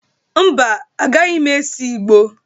Mba, agaghị m ese ìgbó.